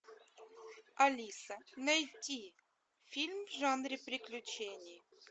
алиса найти фильм в жанре приключений